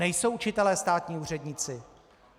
Nejsou učitelé státní úředníci.